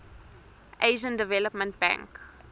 asian development bank